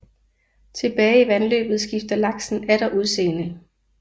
Tilbage i vandløbet skifter laksen atter udseende